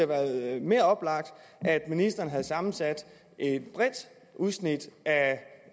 været mere oplagt at ministeren havde sammensat et bredt udsnit af